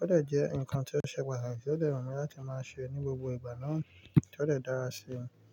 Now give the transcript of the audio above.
ó dẹ̀ jẹ́ ǹkan tí ó ṣe pàtàkì tí ó dẹ wu mi láti máa sè ní gbogbo ìgbà náà tí ó dẹ́ dára ṣi.